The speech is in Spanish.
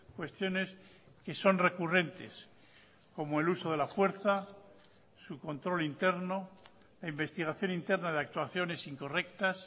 cuestiones que son recurrentes como el uso de la fuerza su control interno la investigación interna de actuaciones incorrectas